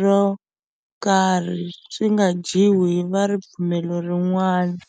ro karhi, swi nga dyiwi hi va ripfumelo rin'wana.